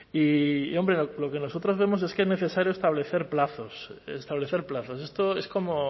y lo que nosotros vemos es que es necesario establecer plazos establecer plazos esto es como